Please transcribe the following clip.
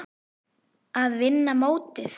Að vinna mótið?